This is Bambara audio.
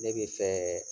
Ne bɛ fɛ